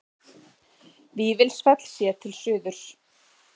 Vífilsfell séð til suðurs.